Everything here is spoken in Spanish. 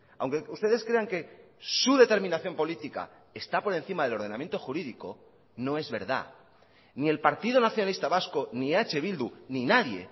aunque ustedes crean que su determinación política está por encima del ordenamiento jurídico no es verdad ni el partido nacionalista vasco ni eh bildu ni nadie